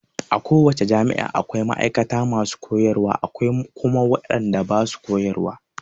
A ko wace jami'a akwai ma'aikata masu koyarwa akwai kuma wadanda basu koyarwa.